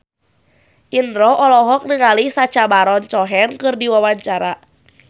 Indro olohok ningali Sacha Baron Cohen keur diwawancara